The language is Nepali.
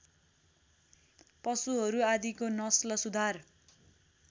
पशुहरू आदिको नस्ल सुधार